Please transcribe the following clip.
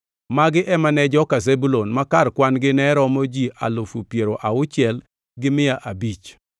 Magi ema ne joka Zebulun, ma kar kwan-gi ne romo ji alufu piero auchiel gi mia abich (60,500).